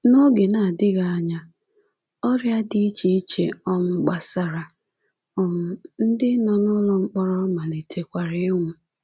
N’oge adịghị anya, ọrịa dị iche iche um gbasara, um ndị. nọ n'ụlọ mkpọrọ malitekwara ịnwụ.